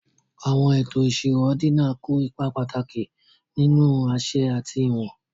àwọn ètò ìṣirò ordinal kó ipa pàtàkì nínú àṣẹ àti ìwọ̀n